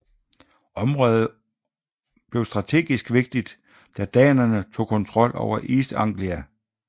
Området blev strategisk vigtigt da danerne tog kontrol over East Anglia